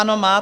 Ano, má.